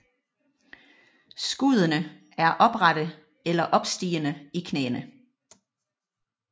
Skuddene er oprette eller opstigende i knæene